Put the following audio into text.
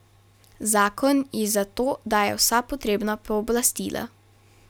Zakon ji za to daje vsa potrebna pooblastila.